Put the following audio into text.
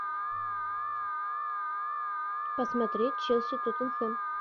посмотреть челси тоттенхэм